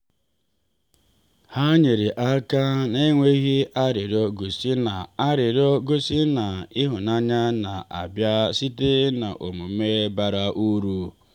ha nyere aka n’enweghị arịrịọ gosi na arịrịọ gosi na ịhụnanya na-abịa site n’omume bara uru.